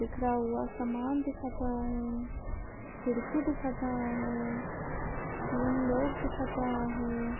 बिखरा हुआ समान दिखाता है खिड़की दिखाता है तीन लोग दिखाता है।